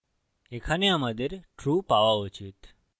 এখানে আমাদের true পাওয়া উচিত